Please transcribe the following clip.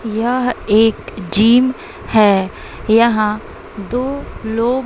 यह एक जिम है यहां दो लोग--